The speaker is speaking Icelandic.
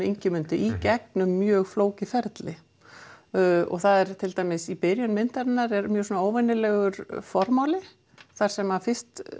Ingimundi í gegnum mjög flókið ferli til dæmis í byrjun myndar er mjög óvenjulegur formáli þar sem fyrst